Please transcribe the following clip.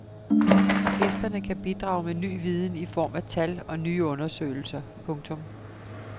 Gæsterne kan bidrage med ny viden i form af tal og nye undersøgelser. punktum